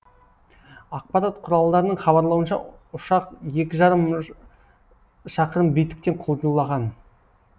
ақпарат құралдарының хабарлауынша ұшақ екі жарым шақырым биіктіктен құлдилаған